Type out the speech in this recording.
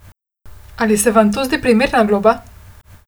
Ali sem vam to zdi primerna globa?